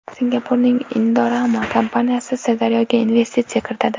Singapurning Indorama kompaniyasi Sirdaryoga investitsiya kiritadi.